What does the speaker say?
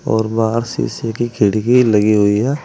और बाहर शीशे की खिड़की लगी हुई है।